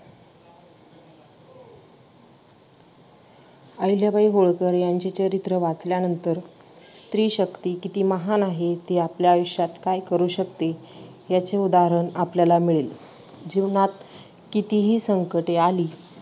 आहिल्याबाई होळकर यांचे चरित्र वाचल्यानंतर स्त्री शक्ती किती महान आहे, ती आपल्या आयुष्यात काय करू शकते याचे उदाहरण आपल्याला मिळेल. जीवनात कितीही संकटे